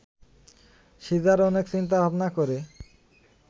caesar অনেক চিন্তা-ভাবনা করে